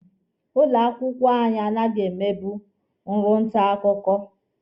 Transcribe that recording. Ụlọ akwụkwọ anyị anaghị emebu ọrụ nta akwụkwọ.